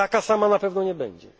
Taka sama na pewno nie będzie.